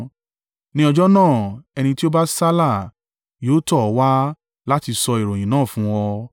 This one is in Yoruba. ní ọjọ́ náà ẹni tí ó bá sálà yóò tọ̀ ọ́ wá láti sọ ìròyìn náà fún ọ.